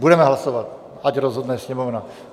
Budeme hlasovat, ať rozhodne Sněmovna.